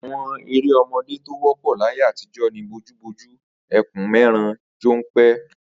Àwo̩n eré o̩mo̩dé tí ó wó̩pò̩ láyé àtijó̩ ni bojúbojú, e̩kùn-mé̩ran, jó̩npe̩